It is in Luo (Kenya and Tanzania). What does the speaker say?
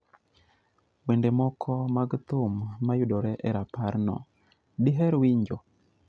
Wende moko mag thum mayudore e raparno, diher winjo?